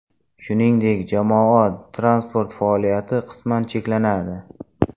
Shuningdek, jamoat transporti faoliyati qisman cheklanadi.